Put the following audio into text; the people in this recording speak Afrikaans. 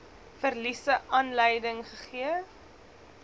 verliese aanleiding gegee